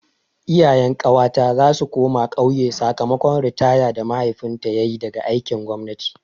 Iyayen ƙawata za su koma ƙauye sakamakon ritaya da mahaifinta yayi daga aikin gwamnati.